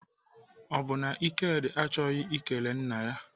Ọ bụ na Ikedi achọghị ikele nna ya?